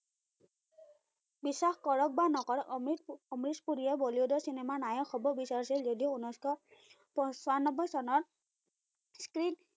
বিশ্বাস কৰক বা নকৰক, অমৃশ পুৰীয়ে বলিউডৰ চিনেমাৰ নায়ক হব বিচাৰিছিল যদিও উনৈসশ পছান্নবৈ চনত screen